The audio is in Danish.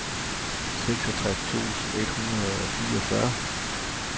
syvogtres tusind et hundrede og fireogfyrre